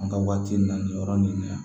An ka waati na nin yɔrɔ nin na